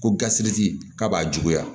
Ko gasi k'a b'a juguya